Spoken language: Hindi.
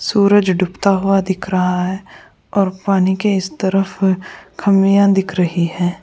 सूरज डूबता हुआ दिख रहा है और पानी के इस तरफ अ खमियां दिख रही हैं।